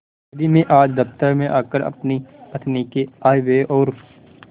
यदि मैं आज दफ्तर में आकर अपनी पत्नी के आयव्यय और